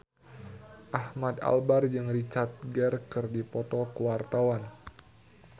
Ahmad Albar jeung Richard Gere keur dipoto ku wartawan